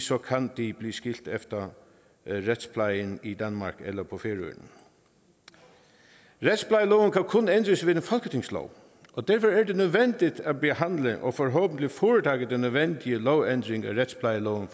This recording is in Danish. så kan de blive skilt efter retsplejen i danmark eller på færøerne retsplejeloven kan kun ændres ved en folketingslov og derfor er det nødvendigt at behandle og forhåbentlig foretage den nødvendige lovændring af retsplejeloven